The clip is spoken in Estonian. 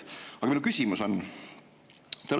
Aga minu küsimus on see.